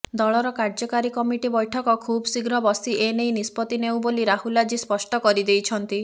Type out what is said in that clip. ଦଳର କାର୍ଯ୍ୟକାରୀ କମିଟି ବୈଠକ ଖୁବ୍ଶୀଘ୍ର ବସି ଏନେଇ ନିଷ୍ପତ୍ତି ନେଉ ବୋଲି ରାହୁଲ ଆଜି ସ୍ପଷ୍ଟ କରିଦେଇଛନ୍ତି